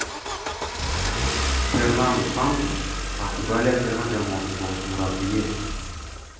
Fernandu Santush, Portugaliya terma jamoasi bosh murabbiyi.